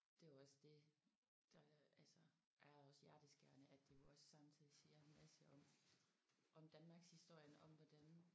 Det var også det der altså er også hjerteskærende at det jo også samtidig siger en masse om om Danmarkshistorien om hvordan